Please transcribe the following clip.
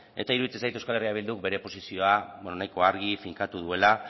eta iruditzen zait euskal herria bilduk bere posizioa nahiko argi finkatu duela